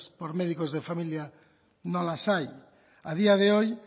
por médicos de familia no las hay a día de hoy